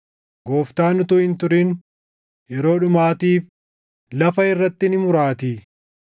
Gooftaan utuu hin turin, yeroo dhumaatiif lafa irratti ni muraatii.”